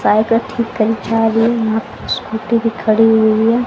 Bike ठीक करी जा रही है यहां पे स्कूटी भी खड़ी हुई है।